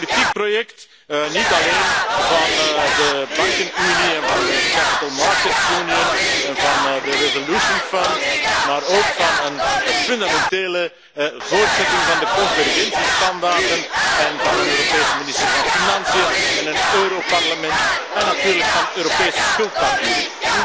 Een politiek project niet alleen van de bankenunie en van de kapitaalmarktenunie en van het afwikkelingsfonds, maar ook van een fundamentele voortzetting van de convergentiestandaarden en van een Europese minister van Financiën en een Europarlement, en natuurlijk van Europese schuldpapieren.